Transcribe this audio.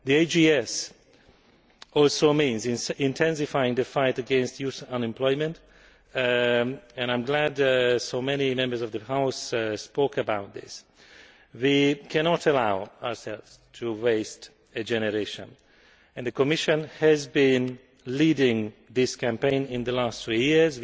The AGS also means intensifying the fight against youth unemployment, and I am glad so many Members of the House spoke about this. We cannot allow ourselves to waste a generation, and the Commission has been leading the campaign against this in the last three years.